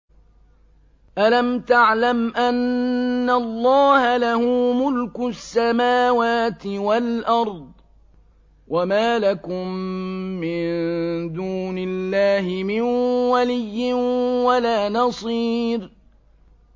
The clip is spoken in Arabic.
أَلَمْ تَعْلَمْ أَنَّ اللَّهَ لَهُ مُلْكُ السَّمَاوَاتِ وَالْأَرْضِ ۗ وَمَا لَكُم مِّن دُونِ اللَّهِ مِن وَلِيٍّ وَلَا نَصِيرٍ